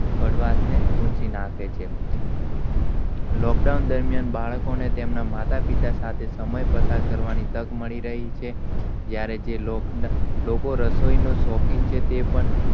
કડવાશ ને પોચિ નાંખે છે. lockdown દરમ્યાન બાળકોને તેમના માતા પિતા સાથે સમય પસાર કરવાની તક મળી રહી છે જ્યારે lockdown લોકો રસોઇને સોખીન છે. ટે પણ,